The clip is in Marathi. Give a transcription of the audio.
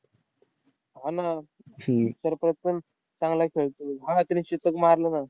हा ना. सर्फराज पण चांगला खेळतो. हा त्याने शतक मारलं ना.